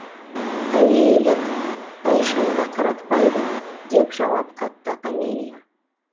әуейілік әй шайға қаратпайды деп жауап қатты амелия